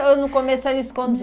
Ou no começo era escondido?